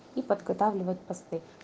и подготавливать посты